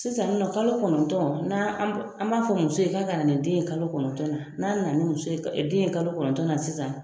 Sisan nin nɔ kalo kɔnɔntɔn, n'an an b'a fɔ muso ye k'a ka na ni den ye kalo kɔnɔntɔn, n'a nana muso ye den ye kalo kɔnɔntɔn na sisan,